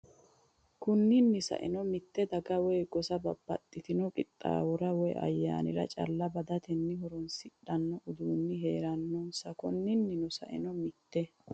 Konni nni saeno mitte daga woy gosa babbaxxitino qixxaawora woy ayyaanira calla badatenni horoonsidhanno uduunni hee’rannose Konni nni saeno mitte.